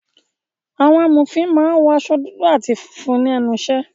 Àwọn amòfin máa ń wọ aṣọ dúdú àti funfun ní ẹnu ìṣẹ́